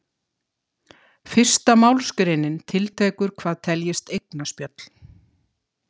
Fyrsta málsgreinin tiltekur hvað teljist eignaspjöll.